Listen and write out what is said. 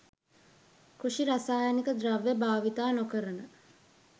කෘෂි රසායනික ද්‍රව්‍ය භාවිත නොකරන